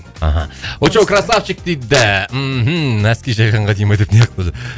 аха очоу крассавчик дейді мхм носки жайғанға дейді ма мынаяқта